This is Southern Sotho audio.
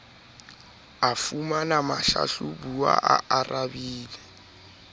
a fumanang mohlahlabuwa a arabile